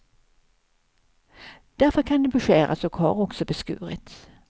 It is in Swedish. Därför kan den beskäras och har också beskurits.